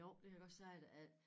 Jo det kan jeg godt sige dig at